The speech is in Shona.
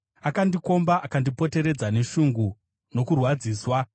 Akandikomba akandipoteredza neshungu nokurwadziswa.